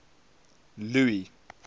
louis